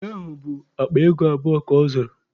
Ji ahụ bụ akpa ego abụọ ka ọ zụrụ